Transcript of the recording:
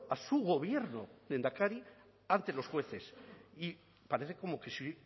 a su gobierno lehendakari ante los jueces y parece como que si